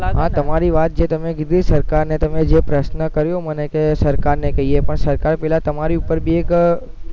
હા તમારી વાત જે તમે કીધું સરકારને તમે જે પ્રશ્ન કર્યો મને કે સરકારને કઈયે પણ સરકાર પેલા તમારી ઉપર ભી કઈ